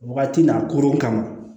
Wagati n'a koron ka ma